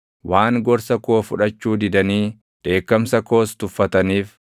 waan gorsa koo fudhachuu didanii dheekkamsa koos tuffataniif,